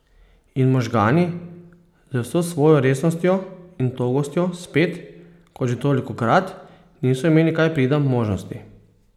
In možgani, z vso svojo resnostjo in togostjo spet, kot že tolikokrat, niso imeli kaj prida možnosti!